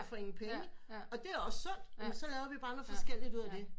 For ingen penge og det er også sundt jamen så laver vi bare noget forskelligt ud af det